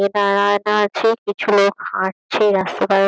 এটার আয়না আছে কিছু লোক হাটছে। রাস্তা পার হ --